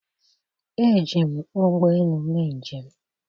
Eji m ụgbọ elu mee njem